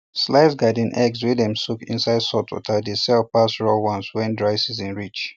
sliced garden eggs wey dem soak inside saltwater dey sell pass raw ones when dry season reach